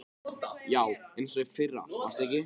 Já, eins og í fyrra manstu ekki?